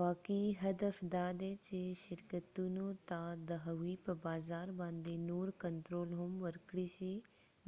واقعي هدف دادی چې شرکتونو ته د هغوی په بازار باندې نور کنترول هم ورکړی شي